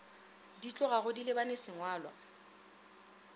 di tlogago di lebane sengwalwa